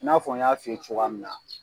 I n'a fɔ n y'a f'i ye cogoya min na.